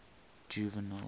juvenal